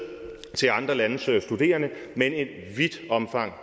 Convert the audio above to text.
til andre landes studerende men i vidt omfang